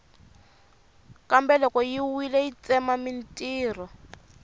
kambe loko yi wile yi tsema mintirho